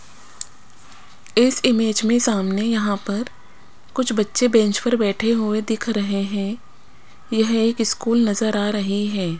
इस इमेज में सामने यहां पर कुछ बच्चे बेंच पर बैठे हुए दिख रहे है यह एक स्कूल नजर आ रही हैं।